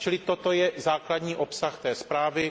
Čili toto je základní obsah zprávy.